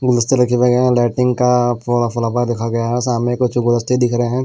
गुलदस्ते रखे भी गए हैं लाइटिंग का फ्लावर रखा गया है और सामने कुछ गुलदस्ते दिख रहे हैं।